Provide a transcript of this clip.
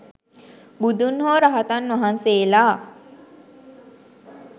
බුදුන් හෝ රහතන් වහන්සේලා